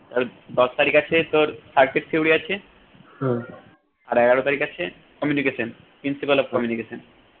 আর দশ তারিখ আছে তোর circuit theory আছে আর এগারো তারিখ আছে communication pricipal of communication